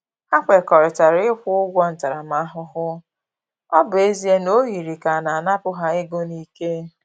Ha kwekọrịtara ịkwụ ụgwọ ntaramahụhụ, ọ bụ ezie na ọ yiri ka a na-anapu ha ego n'ike